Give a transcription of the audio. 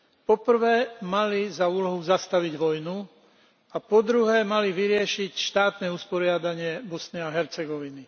Po prvé mali za úlohu zastaviť vojnu a po druhé mali vyriešiť štátne usporiadanie Bosny a Hercegoviny.